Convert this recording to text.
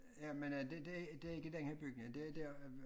Ja men øh det det det ikke den her bygning det der